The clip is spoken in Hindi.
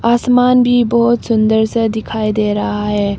आसमान भी बहुत सुंदर सा दिखाई दे रहा है।